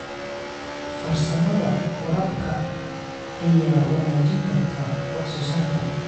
Farsamada waraabka ayaa wanaajin karta wax soo saarka.